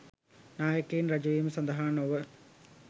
නායකයින් ර‍ජවීම සඳහා නොව